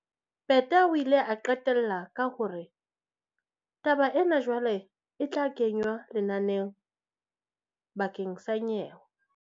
Peta o ile a qetella ka hore, "Taba ena jwale e tla kenywa lenaneng bakeng sa nyewe."